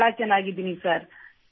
ಬಹಳ ಚೆನ್ನಾಗಿದ್ದೇನೆ ಸರ್